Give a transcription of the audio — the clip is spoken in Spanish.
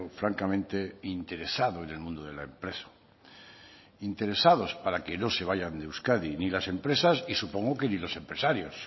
francamente interesado en el mundo de la empresa interesados para que no se vayan de euskadi ni las empresas y supongo que ni los empresarios